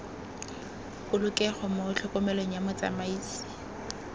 polokego mo tlhokomelong ya motsamaisi